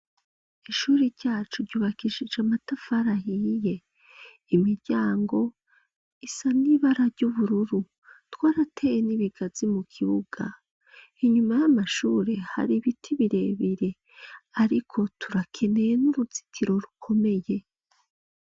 Ishure ryacu ryubakishije amatafari ahiye; imiryango isa n'ibara ry'ubururu. Twarateye n'ibigazi mu kibuga inyuma y'amashure hari ibiti birebire. Ariko turakeneye n'uruzitiro rukomeye.